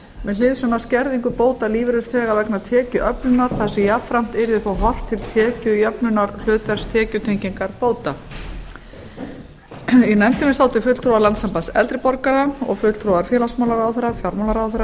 með hliðsjón af skerðingu bóta lífeyrisþega vegna tekjuöflunar þar sem jafnframt yrði þó horft til tekjujöfnunar hlutverks tekjutengingarbóta í nefndinni sátu fulltrúar landssambands eldri borgara og fulltrúar félagsmálaráðherra fjármálaráðherra